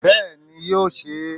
Bẹ́ẹ̀ni, yóò se é